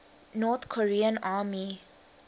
north korean army